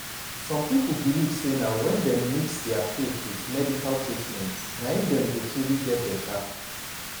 some people believe say na when dem mix dia faith with medical treatment na im dem go truly get beta.